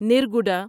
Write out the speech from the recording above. نرگوڈا